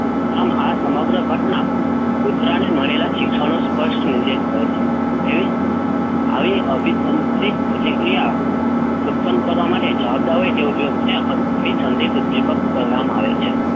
આમ આ સમગ્ર ઘટતા કૂતરાને મળેલા શિક્ષણનો સ્પષ્ટ નિર્દેશ કરે છે. એવી આવી અભિસંધિત પ્રતિક્રિયા ઉત્પન્ન કરવા માટે જવાબદાર હોય તે ઉદ્દીપકને અભિસંધિત ઉદ્દીપક કહેવામાં આવે છે.